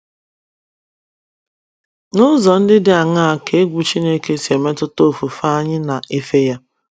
N’ụzọ ndị dị aṅaa ka egwu Chineke si emetụta ofufe anyị na - efe ya?